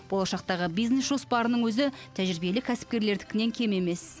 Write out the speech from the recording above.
болашақтағы бизнес жоспарының өзі тәжірибелі кәсіпкерлердікінен кем емес